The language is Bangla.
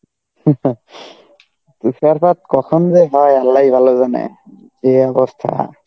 তুষারপাত কখন যে হয় আল্লাই ভালো জানে, যে অবস্থা.